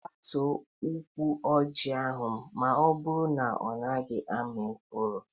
Gbutuo ụkwụ ọjị ahụ maọbụru na ọ naghị ami mkpụrụ!